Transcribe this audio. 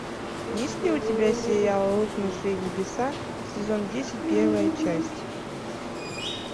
есть ли у тебя сериал рухнувшие небеса сезон десять первая часть